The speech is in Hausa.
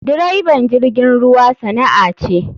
Direban jirgin ruwa sana'a ce.